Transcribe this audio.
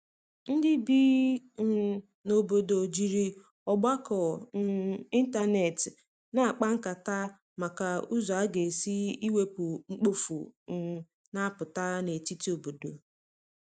ndi ibi um na obodo jiri ọgbako um ịntanetị na akpa nkata maka ụzọ aga esi iwepụ mkpofu um na aputa n'etiti obodo